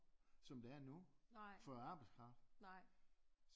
Som der er nu for arbejdskraft